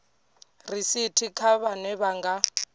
risithi kha vhane vha nga